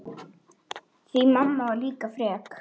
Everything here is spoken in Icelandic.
Því mamma var líka frek.